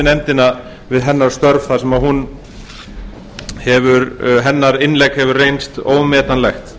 nefndina fyrir hennar störf þar sem hennar innlegg hefur reynst ómetanlegt